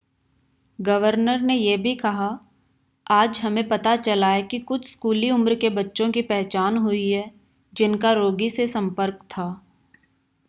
governor ने यह भी कहा आज हमें पता चला है कि कुछ स्कूली उम्र के बच्चों की पहचान हुई है जिनका रोगी से संपर्क था